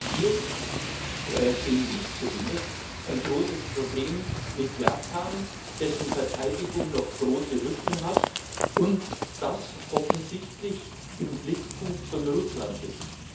Und hier sehe ich zumindest ein großes Problem mit Japan, dessen Verteidigung noch große Lücken hat und das offensichtlich im Blickpunkt von Russland liegt.